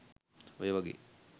ඔය වගේ